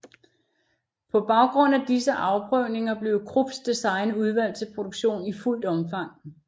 På baggrund af disse afprøvninger blev Krupps design udvalgt til produktion i fuldt omfang